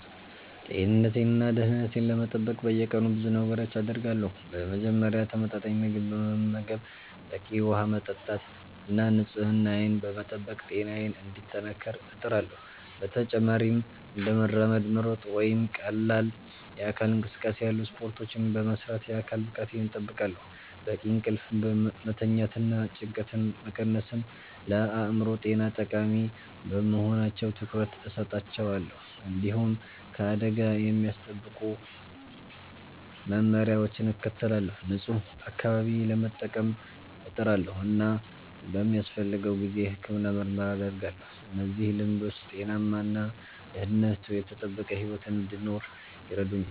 ጤንነቴን እና ደህንነቴን ለመጠበቅ በየቀኑ ብዙ ነገሮችን አደርጋለሁ። በመጀመሪያ ተመጣጣኝ ምግብ በመመገብ፣ በቂ ውሃ በመጠጣት እና ንጽህናዬን በመጠበቅ ጤናዬን እንዲጠናከር እጥራለሁ። በተጨማሪም እንደ መራመድ፣ መሮጥ ወይም ቀላል የአካል እንቅስቃሴ ያሉ ስፖርቶችን በመስራት የአካል ብቃቴን እጠብቃለሁ። በቂ እንቅልፍ መተኛትና ጭንቀትን መቀነስም ለአእምሮ ጤና ጠቃሚ በመሆናቸው ትኩረት እሰጣቸዋለሁ። እንዲሁም ከአደጋ የሚያስጠብቁ መመሪያዎችን እከተላለሁ፣ ንጹህ አካባቢ ለመጠቀም እጥራለሁ እና በሚያስፈልገው ጊዜ የሕክምና ምርመራ አደርጋለሁ። እነዚህ ልምዶች ጤናማ እና ደህንነቱ የተጠበቀ ሕይወት እንድኖር ይረዱኛል